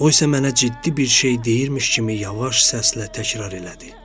O isə mənə ciddi bir şey deyirmiş kimi yavaş səslə təkrar elədi: